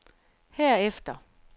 herefter